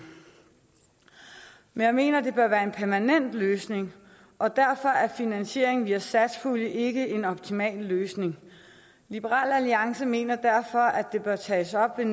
men jeg mener det bør være en permanent løsning og derfor er finansiering via satspuljen ikke en optimal løsning liberal alliance mener derfor at det bør tages op ved